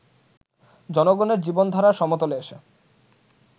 জনগণের জীবনধারার সমতলে এসে